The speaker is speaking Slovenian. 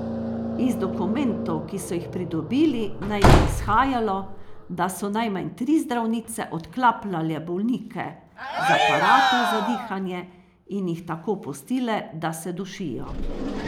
Iz dokumentov, ki so jih pridobili, naj bi izhajalo, da so najmanj tri zdravnice odklapljale bolnike z aparatov za dihanje in jih tako pustile, da se dušijo.